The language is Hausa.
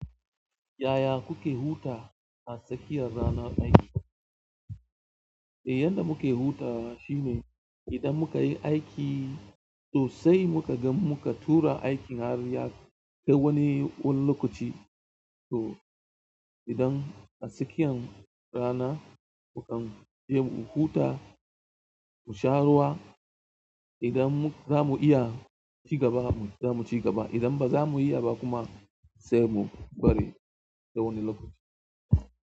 Yaya kuke huta a tsakiyar ranar aiki? Eh yanda muke hutawa idan mukayi aiki sai mu ga mun tura aiki sai wani lokaci to idan a tsakiyar rana sai mu huta mu sha ruwa idan za mu iya ci gaba mu zamu ci gaba. Idan ba za mu iya ba kuma sai mu bari sai wani lokaci.